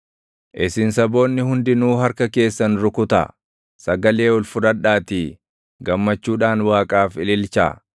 Isin saboonni hundinuu harka keessan rukutaa; sagalee ol fudhadhaatii gammachuudhaan Waaqaaf ililchaa.